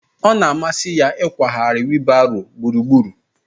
Ọ na-amasị ya ịkwagharị wiilbaro gburugburu